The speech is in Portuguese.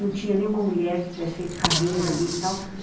Não tinha nenhuma mulher que tivesse feito carreira ali e tal.